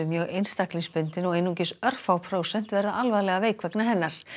mjög einstaklingsbundin og einungis örfá prósent verða alvarlega veik vegna hennar